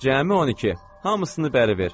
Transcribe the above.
Cəmi 12, hamısını bəri ver.